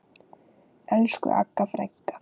Elsku Agga frænka.